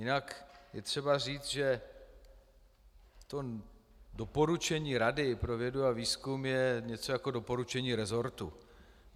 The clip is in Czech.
Jinak je třeba říct, že to doporučení Rady pro vědu a výzkum je něco jako doporučení resortu.